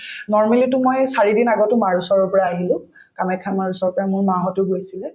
normally তো মই চাৰিদিন আগতো মাৰ ওচৰৰ পৰা আহিলো কামাখ্যা মাৰ ওচৰৰ পৰা মোৰ মাহঁতো গৈছিলে